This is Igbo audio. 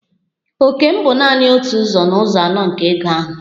Òkè m bụ nanị otu ụzọ n'ụzọ anọ nke ego ahụ.